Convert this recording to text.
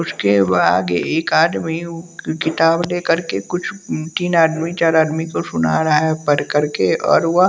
उसके बाद एक आदमी उ किताब लेकर के कुछ उम्म तीन आदमी चार आदमी को सुना रहा है पढ़ करके और वह --